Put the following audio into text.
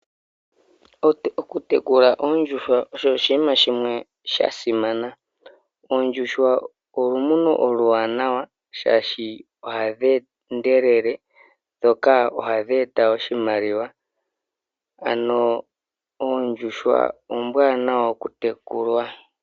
Okutekula oondjuhwa osho oshinima shimwe sha simana. Oondjuhwa olumuno oluwanawa, oshoka ohadhi endelele dho ohadhi eta oshimaliwa. Oondjuhwa oombwanawa okutekulwa.